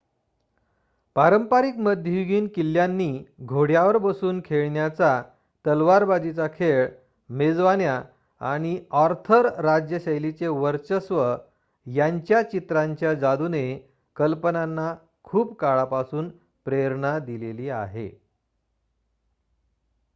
पारंपारिक मध्ययुगीन किल्ल्यांनी घोड्यावर बसून खेळण्याचा तलवारबाजीचा खेळ मेजवान्या आणि आर्थर राज्यशैलीचे वर्चस्व यांच्या चित्रांच्या जादूने कल्पनांना खूप काळापासून प्रेरणा दिलेली आहे